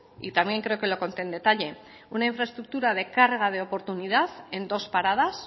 y también creo que lo conté en detalle una infraestructura de carga de oportunidad en dos paradas